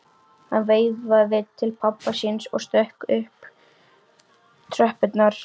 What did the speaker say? Hann veifaði til pabba síns og stökk svo upp tröppurnar.